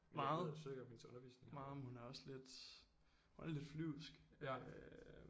Meget meget men hun er også lidt hun er lidt flyvsk øh